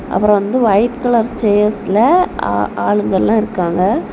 அப்பறம் வந்து white colour சேர்ஸ்ல ஆ ஆளுங்க எல்லா இருக்காங்க.